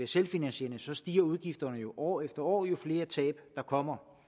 selvfinansierende stiger udgifterne jo år efter år jo flere tab der kommer